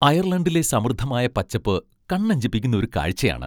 അയർലണ്ടിലെ സമൃദ്ധമായ പച്ചപ്പ് കണ്ണഞ്ചിപ്പിക്കുന്ന ഒരു കാഴ്ചയാണ്.